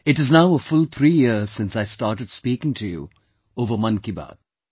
It is now a full three years since I started speaking to you over "Mann Ki Baat"